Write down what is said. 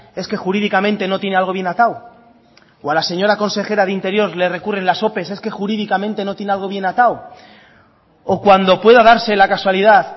es que jurídicamente no tiene algo bien atado o a la señora consejera de interior le recurren las ope es que jurídicamente no tiene algo bien atado o cuando pueda darse la casualidad